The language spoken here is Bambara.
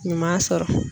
Ɲuman sɔrɔ